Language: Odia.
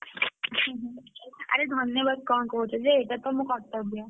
ଆରେ ଧନ୍ୟବାଦ କଣ କହୁଛ ଯେ ଏଇଟା ତ ମୋ କର୍ତ୍ତବ୍ୟ।